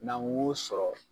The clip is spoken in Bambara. N'an ko sɔrɔ